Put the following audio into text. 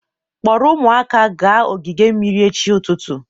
Kpọrọ ụmụaka gaa ogige mmiri echi ụtụtụ